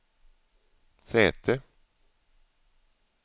säte